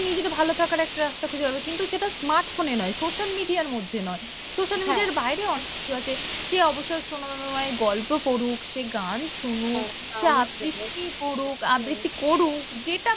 নিজের ভালো থাকার একটা রাস্তা খুঁজে পাবে, কিন্তু সেটা smartphone এ নয় social media র মধ্যে নয়, social media র বাইরে অনেক কিছু আছে, সে অবসর সময় গল্প পড়ুক সে গান শুনুক, সে আবৃত্তি করুক, আবৃত্তি করুক যেটা